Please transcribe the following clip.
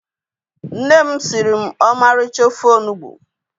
Nne m siri m ọmarịcha ofe onugbu